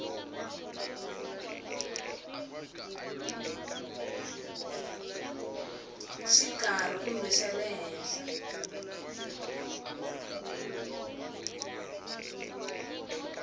xikarhi kumbe xa le henhla